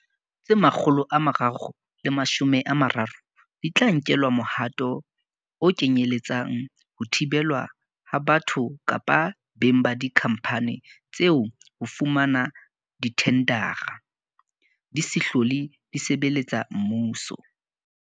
Tse 330 di tla nkelwa mohato o kenyele tsang ho thibelwa ha batho kapa beng ba dikhampani tseo ho fumana dithendara, di se hlole di sebeletsa mmuso.